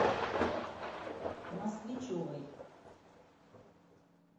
москвичевой